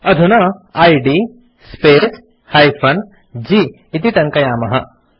अधुना इद् space -g इति टङ्कयामः